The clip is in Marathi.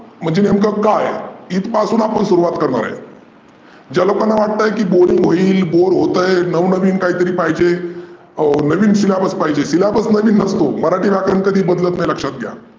म्हणजे नेमक काय? इथ पासून आपण सुरूवात करणार आहे ज्याला पण वाटतय Boring होईल Bored होतय, नवीन काहीतरी पाहीजे. नवीन Syllabus पाहीजे Syllabus नवीन नसतो. मराठी व्यकरण कधी बदलत नसतो.